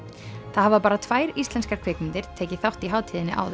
það hafa bara tvær íslenskar kvikmyndir tekið þátt í hátíðinni áður